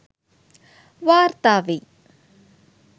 වාර්තා වෙයි